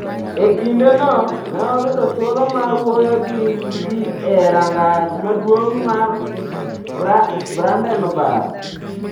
E kindeno, ne oyudo thuolo mar wuoyo gi ji e rangach maduong' mar Brandenburg.